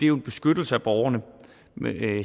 jo en beskyttelse af borgerne